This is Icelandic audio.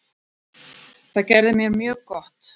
Það gerði mér mjög gott.